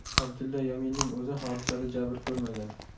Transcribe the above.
Abdulla Yaminning o‘zi hodisada jabr ko‘rmagan.